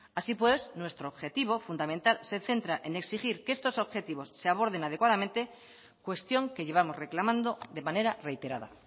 así pues nuestro objetivo fundamental se centra en exigir que estos objetivos se aborden adecuadamente cuestión que llevamos reclamando de manera reiterada